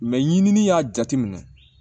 Mɛ ɲinini y'a jateminɛ